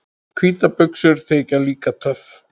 Hvítar buxur þykja líka töff.